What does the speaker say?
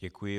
Děkuji.